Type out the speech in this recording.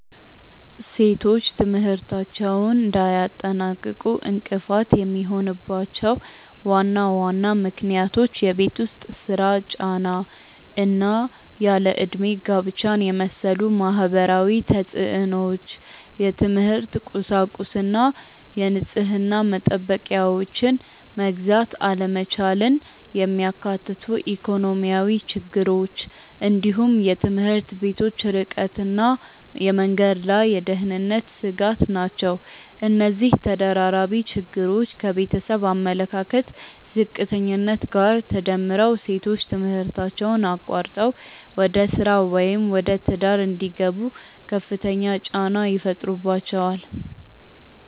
ሴቶች ትምህርታቸውን እንዳያጠናቅቁ እንቅፋት የሚሆኑባቸው ዋና ዋና ምክንያቶች የቤት ውስጥ ሥራ ጫና እና ያለ ዕድሜ ጋብቻን የመሰሉ ማህበራዊ ተፅዕኖዎች፣ የትምህርት ቁሳቁስና የንጽህና መጠበቂያዎችን መግዛት አለመቻልን የሚያካትቱ ኢኮኖሚያዊ ችግሮች፣ እንዲሁም የትምህርት ቤቶች ርቀትና የመንገድ ላይ የደህንነት ስጋት ናቸው። እነዚህ ተደራራቢ ችግሮች ከቤተሰብ አመለካከት ዝቅተኛነት ጋር ተዳምረው ሴቶች ትምህርታቸውን አቋርጠው ወደ ሥራ ወይም ወደ ትዳር እንዲገቡ ከፍተኛ ጫና ይፈጥሩባቸዋል።